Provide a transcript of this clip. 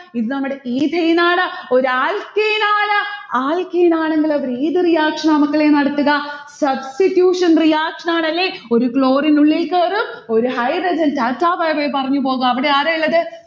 ഇത് നമ്മളുടെ ethane ആണ്. ഒരു alkane ആണ്. alkane ആണെങ്കിൽ അവർ ഏത് reaction ആ മക്കളെ നടക്കുക? substitution reaction ആണ് അല്ലെ? ഒരു chlorine ഉള്ളിൽ കേറും, ഒരു hydrogen tata byebye പറഞ്ഞു പോകും അവിടെ ആരാ ഇല്ലത്?